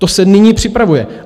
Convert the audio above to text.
To se nyní připravuje.